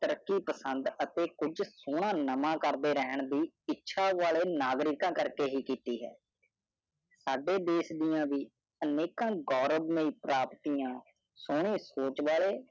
ਪਸੰਦ ਅਤੇ ਕੁਛ ਸੋਨਾ ਨਮਾ ਕਰਦੇ ਰਹਿਣ ਦੀ ਇੱਛਾ ਵਾਲੇ ਨਾਗਰਿਕ ਕਰਕੇ ਹੀ ਕੀਤੀ ਹੈ ਸਾਡੇ ਦੇਸ਼ ਦੀਆਂ ਵੀ ਅਨੇਕਾਂ ਗੌਰਵ ਮਯੀ ਪ੍ਰਾਪਤੀਆਂ ਸੋਨੀ ਸੋਚ ਵਾਲੇ